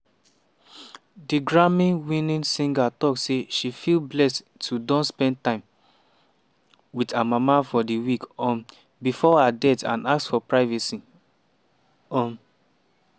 di grammy-winning singer tok say she feel blessed to don spend time wit her mama for di week um bifor her death and ask for privacy. um